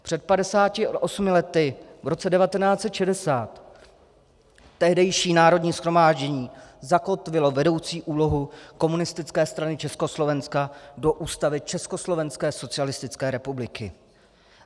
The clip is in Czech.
Před 58 lety, v roce 1960, tehdejší Národní shromáždění zakotvilo vedoucí úlohu Komunistické strany Československa do Ústavy Československé socialistické republiky.